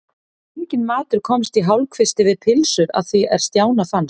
Enginn matur komst í hálfkvisti við pylsur að því er Stjána fannst.